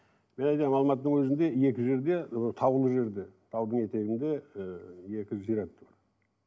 мен айтамын алматының өзінде екі жерде ы таулы жерде таудың етегінде ыыы екі зират